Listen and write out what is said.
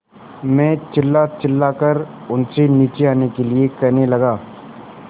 मैं चिल्लाचिल्लाकर उनसे नीचे आने के लिए कहने लगा